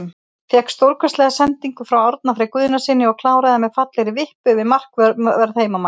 Fékk stórkostlega sendingu frá Árna Frey Guðnasyni og kláraði með fallegri vippu yfir markvörð heimamanna.